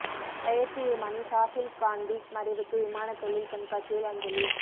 பயிற்சி விமானி சாஹில் காந்தி மறைவுக்கு விமானத் தொழில் கண்காட்சியில் அஞ்சலி